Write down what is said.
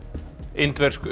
indversk